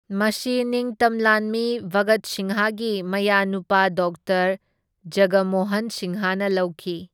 ꯃꯁꯤ ꯅꯤꯡꯇꯝ ꯂꯥꯟꯃꯤ ꯚꯒꯠ ꯁꯤꯡꯍꯒꯤ ꯃꯌꯥꯅꯨꯄꯥ ꯗꯣꯛꯇꯔ ꯖꯒꯃꯣꯍꯟ ꯁꯤꯡꯍꯅ ꯂꯧꯈꯤ꯫